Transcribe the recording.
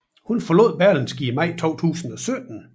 Hun forlod Berlingske i maj 2017